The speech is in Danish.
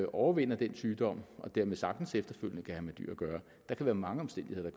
overvinder den sygdom og som dermed sagtens efterfølgende kan have med dyr at gøre der kan være mange omstændigheder